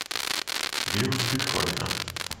вирус бетховена